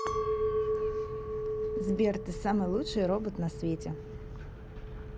сбер ты самый лучший робот на свете